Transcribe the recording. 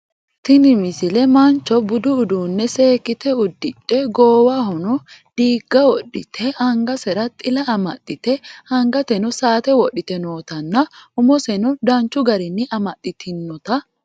Tini misile mancho budi uduunne seekkite udiddhe goowahono diigga wodhite angasera xila amaxxite angateno saate wodhite nootanna umoseno danchu garinni amaxxitinota